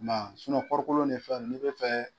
Ma sunɔ kɔɔrikolo nin fɛn nunnu, ne bɛ fɛ.